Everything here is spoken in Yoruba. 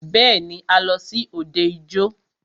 Bẹ́ẹ̀ni,a lọ sí òde ijó.